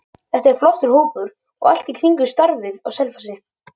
Þetta er flottur hópur og allt í kringum starfið á Selfossi.